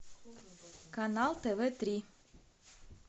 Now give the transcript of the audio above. канал тв три